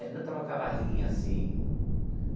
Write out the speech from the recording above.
Helena estava com a barriguinha assim.